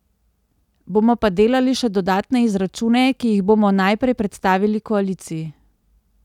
Bomo pa delali še dodatne izračune, ki jih bomo najprej predstavili koaliciji.